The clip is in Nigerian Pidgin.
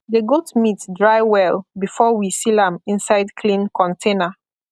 the goat meat dry well before we seal am inside clean container